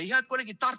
Head kolleegid!